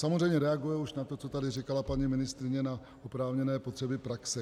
Samozřejmě reaguje už na to, co tady říkala paní ministryně, na oprávněné potřeby praxe.